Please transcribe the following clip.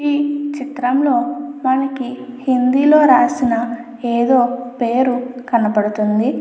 ఈ చిత్రంలో మనకి హిందీ లో రాసిన ఏదో పేరు కనబడుతుంది.